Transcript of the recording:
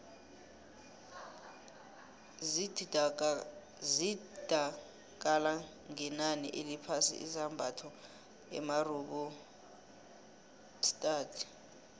zithda kala ngenani eliphasi izambatho emarabaotadi